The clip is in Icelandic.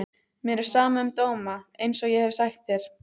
Mér er sama um dóma einsog ég hef sagt þér.